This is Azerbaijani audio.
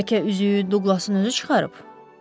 Bərkə üzüyü Douglasın özü çıxarıb?